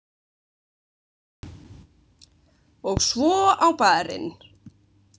Og svo á Bar- inn.